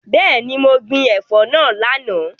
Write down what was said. Bẹẹni, mo gbin ẹ̀fọ́ náà lánàá.